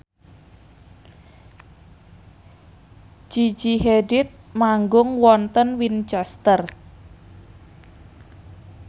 Gigi Hadid manggung wonten Winchester